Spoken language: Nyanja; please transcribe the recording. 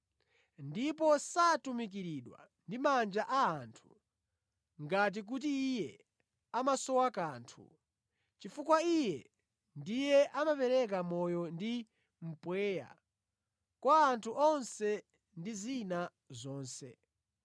Ndipo satumikiridwa ndi manja a anthu ngati kuti Iye amasowa kanthu, chifukwa Iye ndiye amapereka moyo ndi mpweya kwa anthu onse ndi zina zonse.